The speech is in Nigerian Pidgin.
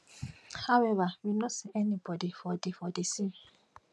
however we no see any bodi for di for di sea